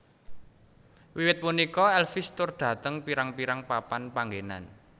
Wiwit punika Elvis tur dhateng pirang pirang papan panggenan